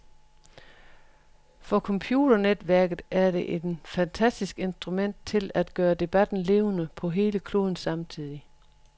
For computernetværket er et fantastisk instrument til at gøre debatten levende på hele kloden samtidig.